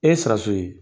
E ye siraso ye